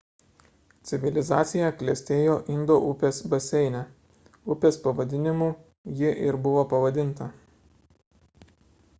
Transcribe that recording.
civilizacija klestėjo indo upės baseine upės pavadinimu ji ir buvo pavadinta